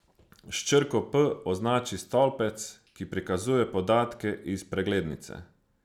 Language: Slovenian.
S črko P označi stolpec, ki prikazuje podatke iz preglednice.